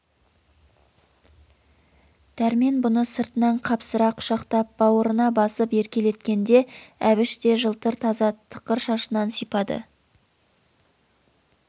дәрмен бұны сыртынан қапсыра құшақтап бауырына басып еркелеткенде әбіш те жылтыр таза тықыр шашынан сипады